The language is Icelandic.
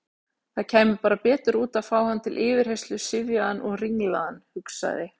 Það kæmi bara betur út að fá hann til yfirheyrslu syfjaðan og ringlaðan, hugsaði